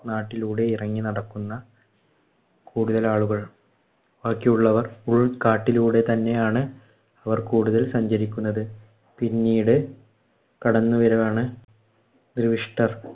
നാട്ടിലൂടെ ഇറങ്ങി നടക്കുന്ന കൂടുതൽ ആളുകൾ. ബാക്കിയുള്ളവർ ഉള്‍കാട്ടിലൂടെ തന്നെയാണ് അവർ കൂടുതൽ സഞ്ചരിക്കുന്നത്. പിന്നീട് കടന്നുവരവാണ്